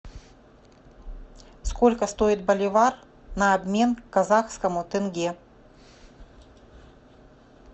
сколько стоит боливар на обмен казахскому тенге